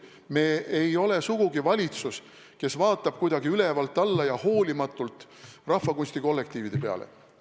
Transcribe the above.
Me ei ole sugugi valitsus, kes vaatab kuidagi ülevalt alla ja hoolimatult rahvakunstikollektiivide peale.